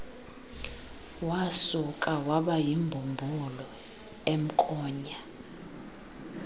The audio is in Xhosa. wasuka wabayimbumbulu emnkonya